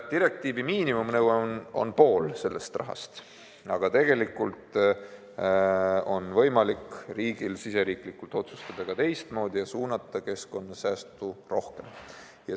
Direktiivi miinimumnõue on pool rahast, aga tegelikult on riigil võimalik riigisiseselt otsustada ka teistmoodi ja suunata keskkonnasäästu rohkem raha.